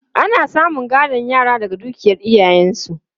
Ana samun gadon yara daga dukiyar iyayensu.